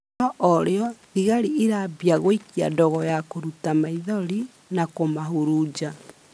No orĩo, thĩgarĩ irambĩa gũikia ndogo ya kũrũta maĩthorĩ na kumahurunja